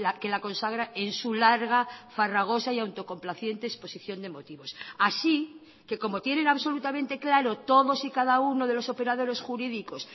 que la consagra en su larga farragosa y autocomplaciente exposición de motivos así que como tienen absolutamente claro todos y cada uno de los operadores jurídicos